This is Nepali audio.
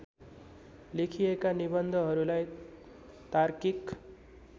लेखिएका निबन्धहरूलाई तार्किक